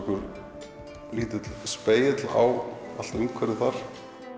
lítill spegill á umhverfið þar